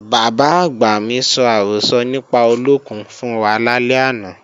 Bàbá-àgbà mi sọ àrọ́sọ nípa olókùn fún wa lálẹ́ àná